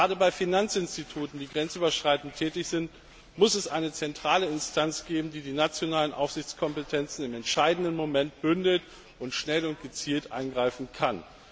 Gerade bei Finanzinstituten, die grenzüberschreitend tätig sind, muss es eine zentrale Instanz geben, die die nationalen Aufsichtskompetenzen im entscheidenden Moment bündelt und schnell und gezielt eingreifen kann.